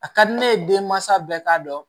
A ka di ne ye denmansa bɛɛ k'a dɔn